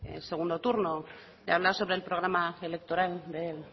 el segundo turno de hablar sobre el programa electoral del